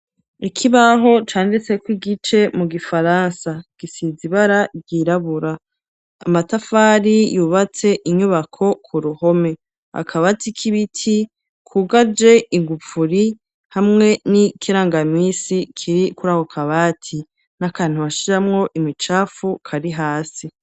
Ikibaho canditse ko igice mu gifaransa gisizibara ryirabura. Amatafari yubatse inyubako ku ruhome. Akabati k'ibiti kugaje ingupfuri, hamwe n'ikirangamisi kiri kurako kabati n'akantu bashiramwo imicafu kari hasi.